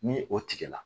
Ni o tigɛ la